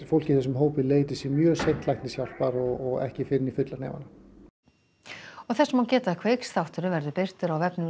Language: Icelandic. fólk í þessum hópi leiti sér mjög seint læknishjálpar og ekki fyrr en í fulla hnefana þess má geta að Kveiksþátturinn verður birtur á vefnum